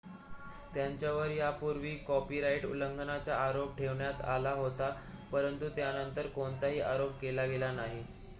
त्यांच्यावर यापूर्वीही कॉपीराइट उल्लंघनाचा आरोप ठेवण्यात आला होता परंतु त्यांनतर कोणताही आरोप केला गेला नाही